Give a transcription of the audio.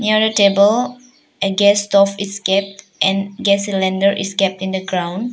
Near a table a gas stove is kept and gas cylinder is kept in the ground.